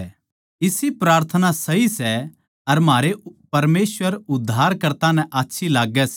इसी प्रार्थना सही सै अर म्हारै परमेसवर उद्धारकर्ता नै आच्छी लाग्गै सै